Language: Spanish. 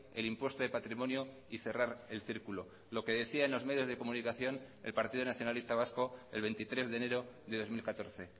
el impuesto de patrimonio y cerrar el círculo lo que decía en los medios de comunicación el partido nacionalista vasco el veintitrés de enero de dos mil catorce